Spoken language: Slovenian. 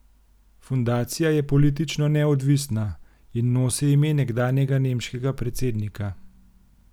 Fundacija je politično neodvisna in nosi ime nekdanjega nemškega predsednika.